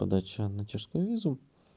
подача на чешскую визу